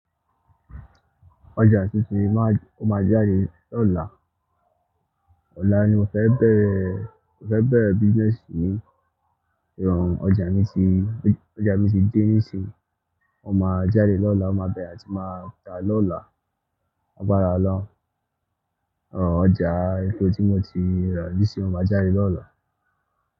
Ọjà tuntun ma-- ó máa jáde lọ́la. Lọ́la ni mo fẹ́ bẹ̀rẹ̀, mo fẹ́ bẹ̀rẹ̀ business yìí. Òun ọjà mi ti, ọjà mi ti de nísinsìnyí ó máa jáde lọ́la, ó máa bẹ̀rẹ̀, a ti máa ta lọ́la. L'agbára ọ́loun. Òun ọjà ètò tí mo ti rà nísinsìnyí ó máa jáde lọ́la.